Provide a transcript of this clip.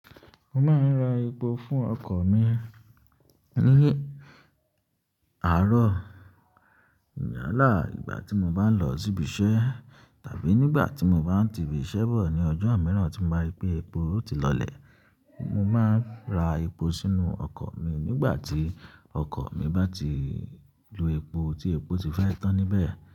Mo máa ń ra epo fún ọkọ̀ mi ní àárọ̀, yálà, ìgbà tí mo bá ń lọ síbi iṣẹ́ tàbí nígbà tí mo bá ti ibi iṣẹ́ bọ̀ ní ọjọ́ míràn tí mo bá rí pé epo ti lọlẹ̀. Mo máa ń ra epo sínú ọkọ̀ mi nígbà tí ọkọ̀ mi bá ti lo epo tí epo ti fẹ́ tán níbẹ̀.